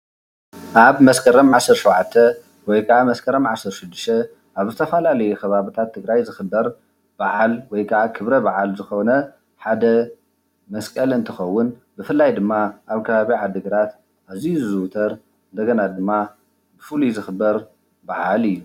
ኣብ መስከረም 17 ወይከዓ መስከረም 16 ኣብ ዝተፈላለዩ ከባቢታት ትግራይ ዝክበር በዓል ወይከዓ ክብረበዓል ዝኮነ ሓደ መስቀል እንትከውን ብፍላይ ድማ ኣብ ከባቢ ዓዲግራት ኣዙዩ ዝዝውተር እንደገና ድማ ፍሉይ ዝክበር በዓል እዩ።